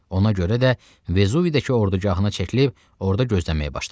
Ona görə də Vezuvidəki ordugahına çəkilib orda gözləməyə başladı.